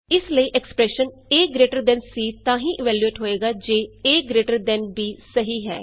ਇਸ ਲਈ expression AGTC ਤਾਂ ਹੀ ਇਵੈਲਯੂਏਟ ਹੋਏਗਾ ਜੇ ਏਜੀਟੀਬੀ ਸਹੀ ਹੈ